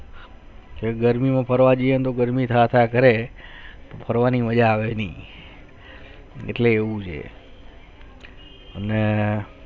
તે ગરમી માં ફરવા જિયે તો ગરમી થાઈ થૈયા કરે ફરવાની મજા આવે ની એટલે એવુ છે અને